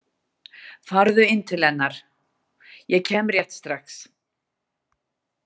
Farðu inn til hennar, ég kem rétt strax